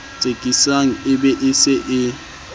tsekisang be e se e